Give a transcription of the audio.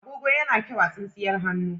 Agogo yana kyau a tsintsiyar hannu.